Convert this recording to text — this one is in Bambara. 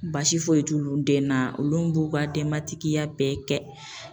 Basi foyi t'olu den na, olu b'u ka denbatigiya bɛɛ kɛ